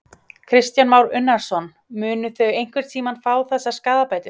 Kristján Már Unnarsson: Munu þau einhvern tímann fá þessar skaðabætur?